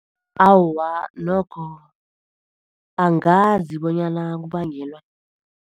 Awa, nokho angazi bonyana kubangelwa.